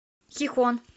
хихон